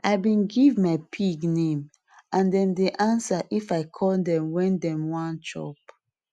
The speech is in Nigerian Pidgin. i bin give my pig name and dem dey answer if i call dem wen dem wan chop